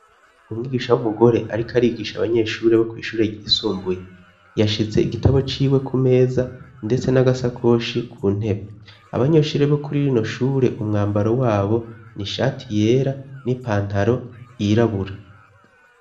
umwigisha w'umugore ariko arigisha abanyeshure bo kw'ishure gisumbuye yashize igitabo c'iwe ku meza ndetse n'agasakoshi ku ntebe abanyeshuri bo kuri irinoshure umwambaro wabo ni ishati yera n'ipantaro irabura